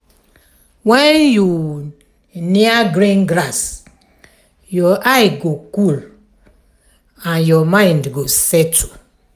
when you near green grass your eye go cool and your mind go settle.